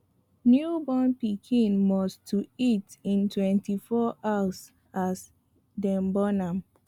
new born pikin must to eat in 2hrs as dem born am